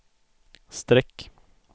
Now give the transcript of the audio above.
streck